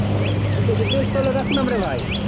ঠিক আছে বেশ তালে রাখলাম রে ভাই